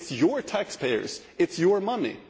it is your taxpayers, it is your money.